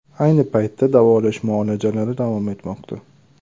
Ayni paytda davolash muolajalari davom etmoqda.